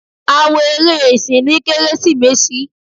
a wo eré esín ní keresimesi.